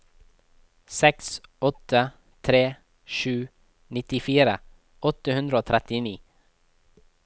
seks åtte tre sju nittifire åtte hundre og trettini